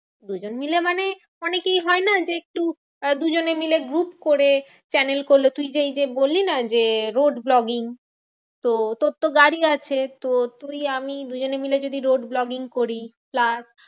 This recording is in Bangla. দুজন মিলে মানে, অনেকেই হয়না যে একটু আহ দুজনে মিলে group করে channel করলো। তুইজে এইযে বললি না যে road vlogging তো তোরতো গাড়ি আছে তো তুই আমি দুজনে মিলে যদি road vlogging করি। plus